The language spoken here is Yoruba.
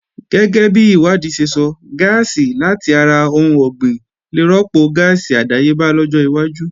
Gẹ́gẹ́bi ìwádìí ṣe sọ, gáàsì làti ara ohun ọ̀gbìn lè rọ́pò gáàsì àdáyébá lọ́jọ́ iwájú